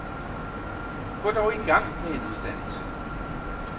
Gå dog i gang med en uddannelse.